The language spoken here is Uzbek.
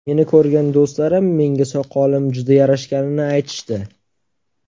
Meni ko‘rgan do‘stlarim menga soqolim juda yarashganini aytishdi.